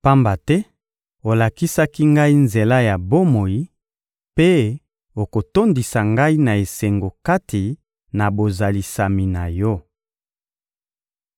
Pamba te olakisaki ngai nzela ya bomoi, mpe okotondisa ngai na esengo kati na bozalisami na Yo.»